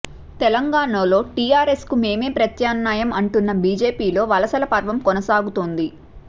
తెలంగాణలో టీఆర్ఎస్కు మేమే ప్రత్యామ్నాయం అంటున్న బీజేపీలో వలసల పర్వం కొనసాగుతోంది